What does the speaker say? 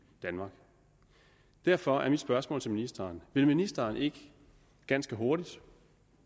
danmark derfor er mit spørgsmål til ministeren vil ministeren ikke ganske hurtigt